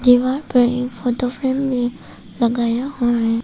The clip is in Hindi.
दीवार पर एक फोटो फ्रेम भी लगाया हुआ है।